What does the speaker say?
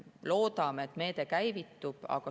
Loodame, et meede käivitub.